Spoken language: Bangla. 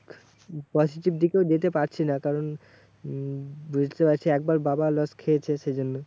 Positive দিকেও যেতে পারছি না। কারণ উম বুঝতে পারছিস একবার বাবা loss খেয়েছে সেই জন্য।